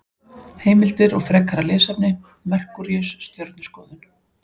Heimildir og frekara lesefni: Merkúríus- Stjörnuskoðun.